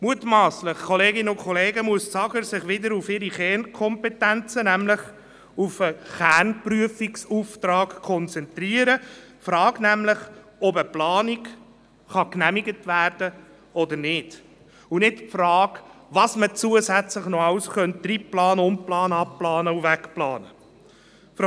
Das AGR sollte sich wieder auf seine Kernkompetenzen konzentrieren, nämlich auf den Kernprüfungsauftrag, also auf die Frage, ob eine Planung genehmigt werden kann oder nicht, und nicht auf die Frage, was man zusätzlich noch alles reinplanen, umplanen, abplanen und wegplanen könnte.